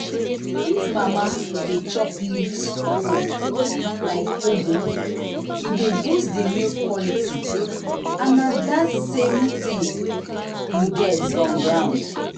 if mama dey chop leaf food like ugu e dey boost the milk quality and na the same things we get on ground.